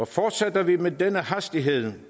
fortsætter vi med den hastighed